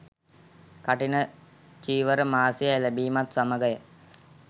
කඨින චීවර මාසය එළඹීමත් සමඟය.